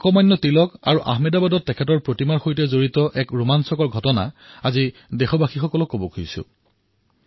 মই লোকমান্য তিলক আৰু আহমেদাবাদত তেওঁৰ প্ৰতিমাৰ সৈতে জড়িত এক আমোদজনক ঘটনা আপোনালোকৰ সন্মুখত উত্থাপন কৰিব খুজিছোঁ